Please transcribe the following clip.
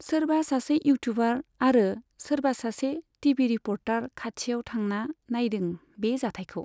सोरबा सासे इउटुबार आरो सोरबा सासे टिबि रिपर्टार खाथियाव थांना नायदों बे जाथायखौ।